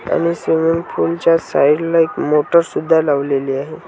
आणि swimming pool च्या side ला एक मोटर सुद्धा लावलेली आहे.